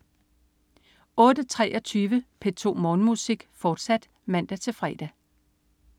08.23 P2 Morgenmusik, fortsat (man-fre)